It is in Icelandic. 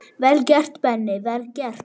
Vel gert, Benni, vel gert.